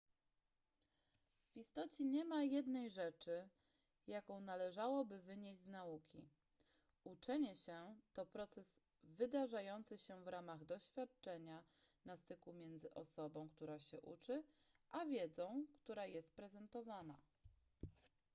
w istocie nie ma jednej rzeczy jaką należałoby wynieść z nauki uczenie się to proces wydarzający się w ramach doświadczenia na styku między osobą która się uczy a wiedzą która jest prezentowana